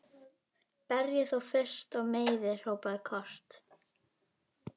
Berjið þá fyrst og meiðið, hrópaði Kort.